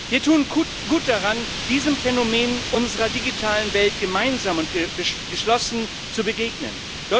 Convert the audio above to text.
Wir tun gut daran, diesem Phänomen unserer digitalen Welt gemeinsam und geschlossen zu begegnen.